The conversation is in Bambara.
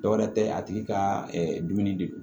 Dɔwɛrɛ tɛ a tigi ka dumuni de don